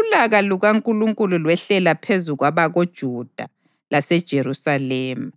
ulaka lukaNkulunkulu lwehlela phezu kwabakoJuda laseJerusalema.